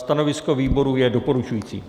Stanovisko výboru je doporučující.